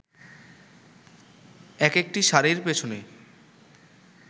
একেকটি শাড়ির পেছনে